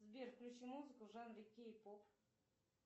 сбер включи музыку в жанре кей поп